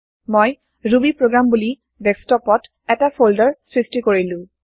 মই ৰুবিপ্ৰগ্ৰাম বুলি ডেস্কটপ ত এটা ফল্দাৰ সৃষ্টি কৰিলো